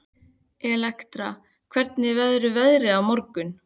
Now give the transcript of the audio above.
Elektra, hvernig verður veðrið á morgun?